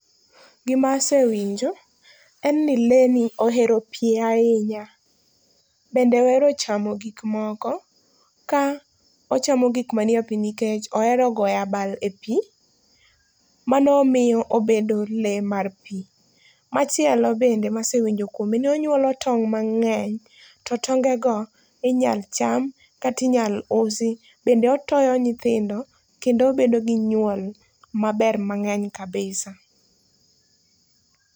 Gima asewinjo en ni le ni ohero pi ahinya, bende ohero ochamo gikmoko. Ka ochamo gikmanie pi nikech ohero goyoabal e pi, mano miyo obedo le mar pi. Machielo bende masewinjo kuome ni onyuolo tong' mang'eny to tonge go inyal cham kata inyal usi. Bende otoyo nyithindo, kendo obedo gi nyuol mang'eny maber kabisa.